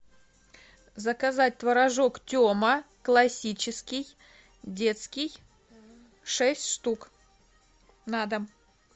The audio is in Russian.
заказать творожок тема классический детский шесть штук на дом